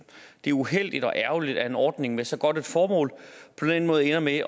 det er uheldigt og ærgerligt at en ordning med så godt et formål på den måde ender med